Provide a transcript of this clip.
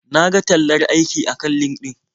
Na ga tallar aiki akan LinkedIn.